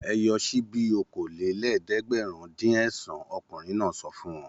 Ẹ yọ ṣíbí okòólélẹ́ẹ̀dẹ́gbẹ̀rúndínẹ̀sán! Ọkùnrin náà sọ fún wọn.